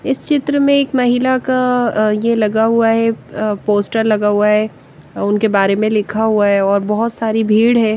इस चित्र में एक महिला का ये लगा हुआ है पोस्टर लगा हुआ है उनके बारे में लिखा हुआ है और बह़ोत सारी भीड़ है।